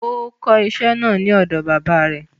Ó kó iṣẹ́ náà ní ọ̀dọ baba rẹ̀